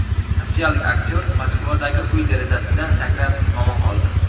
Rossiyalik aktyor Moskvadagi uy derazasidan sakrab, omon qoldi.